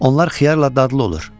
Onlar xiyarla dadlı olur.